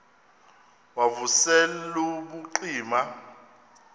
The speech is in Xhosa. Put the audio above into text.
wav usel ubucima